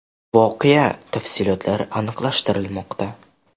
Voqea tafsilotlari aniqlashtirilmoqda.